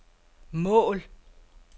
mål